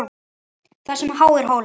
Þar sem háir hólar